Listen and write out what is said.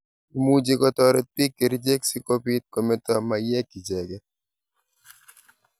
Imuchikotaret piik kerichek si kopit kometa maiyek icheget.